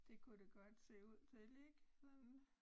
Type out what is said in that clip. Det kunne det godt se ud til ik sådan